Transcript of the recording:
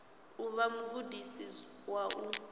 u vha mugudisi wa u